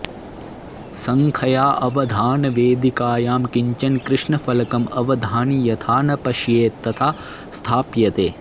सङ्ख्या अवधानवेदिकायां किञ्चन कृष्णफलकं अवधानी यथा न पश्येत् तथा स्थाप्यते